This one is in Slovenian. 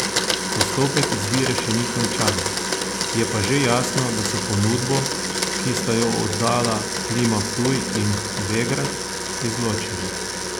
Postopek izbire še ni končan, je pa že jasno, da so ponudbo, ki sta jo oddala Klima Ptuj in Begrad, izločili.